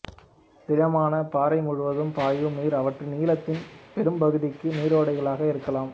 திடமான பாறை முழுவதும் பாயும் நீர் அவற்றின் நீளத்தின் பெரும்பகுதிக்கு நீரோடைகளாக இருக்கலாம்